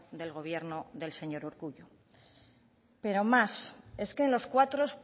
del gobierno del señor urkullu pero más es que en los cuatro